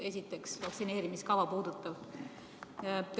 Esiteks, vaktsineerimiskava puudutav.